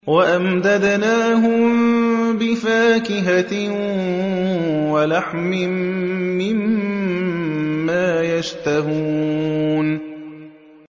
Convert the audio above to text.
وَأَمْدَدْنَاهُم بِفَاكِهَةٍ وَلَحْمٍ مِّمَّا يَشْتَهُونَ